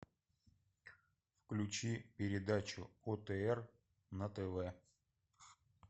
включи передачу отр на тв